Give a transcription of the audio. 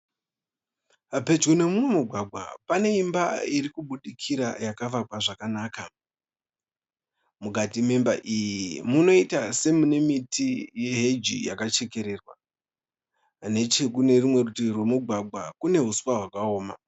Pedyo nemumugwagwa pane imba iri kubudikira yakavakwa zvakanaka, mukati memba iyi munoita semune miti heji yakachekererwa , nechekunerimwe rutivi kwemugwagwa kune huswa hwakaoma.